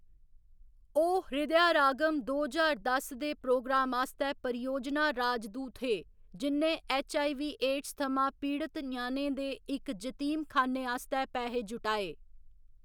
ओह्‌‌ हृदयारागम दो ज्हार दस दे प्रोग्राम आस्तै परियोजना राजदूत हे, जि'न्नै ऐच्च. आई. वी., एड्स थमां पीड़त ञ्याणें दे इक जतीम खान्ने आस्तै पैहे जुटाए।